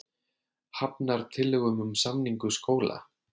Hafnar tillögum um samningu skóla